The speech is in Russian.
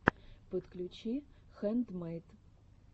подключи хэндмэйд